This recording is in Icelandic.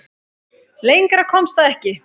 Lengra komst það ekki.